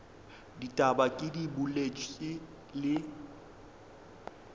ditaba ke di boletše le